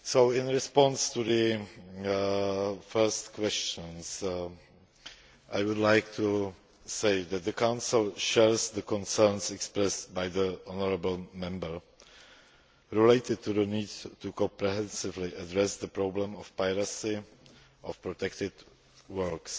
In response to the first question, I would like to say that the Council shares the concerns expressed by the honourable Member relating to the need to comprehensively address the problem of piracy of protected works.